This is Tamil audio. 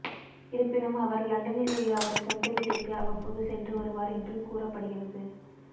இருப்பினும் அவர் லண்டனில் உள்ள அவரது சொந்த வீட்டிற்கு அவ்வப்போது சென்று வருவார் என்று கூறப்படுகிறது